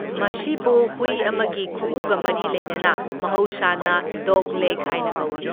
ꯃꯁꯤꯕꯨ ꯍꯨꯏ ꯑꯃꯒꯤ ꯈꯨꯎꯒ ꯃꯔꯤ ꯂꯩꯅꯅ ꯃꯍꯧꯁꯥꯅ ꯗꯣꯒꯂꯦꯒ ꯍꯥꯏꯅ ꯀꯧꯢ꯫